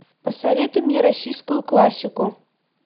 посоветуй мне российскую классику